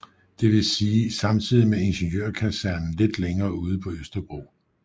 Det vil sige samtidig med Ingeniørkasernen lidt længere ude på Østerbro